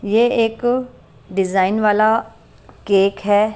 ये एक डिजाइन वाला केक है।